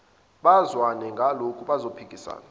bazwane ngalutho bazophikisana